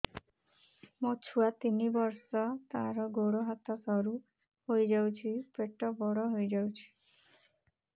ମୋ ଛୁଆ ତିନି ବର୍ଷ ତାର ଗୋଡ ହାତ ସରୁ ହୋଇଯାଉଛି ପେଟ ବଡ ହୋଇ ଯାଉଛି